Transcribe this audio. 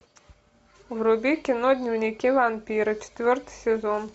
вруби кино дневники вампира четвертый сезон